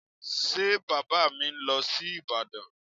Ṣé Bàbá mi ń lọ sí Ìbàdàn?